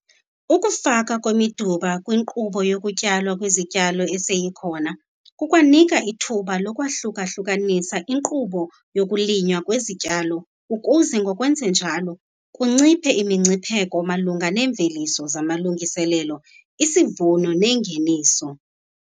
Ukufaka kwemidumba kwinkqubo yokutyalwa kwezityalo eseyikhona kukwanika ithuba lokwahluka-hlukanisa inkqubo yokulinywa kwezityalo ukuze ngokwenza njalo, kunciphe imingcipheko malunga neemveliso zamalungiselelo, isivuno nengeniso.